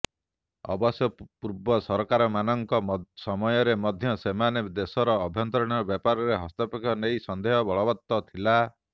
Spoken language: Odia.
ଅବଶ୍ୟ ପୂର୍ବ ସରକାରମାନଙ୍କ ସମୟରେ ମଧ୍ୟ ସେମାନଙ୍କ ଦେଶର ଆଭ୍ୟନ୍ତରୀଣ ବ୍ୟାପାରରେ ହସ୍ତକ୍ଷେପ ନେଇ ସନ୍ଦେହ ବଳବତ୍ତର ଥିଲା